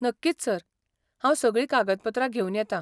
नक्कीच सर! हांव सगळीं कागदपत्रां घेवन येतां.